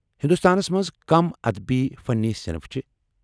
ہنٛدوستانس منٛز کم ادبی فنٕی صنف چھِ ؟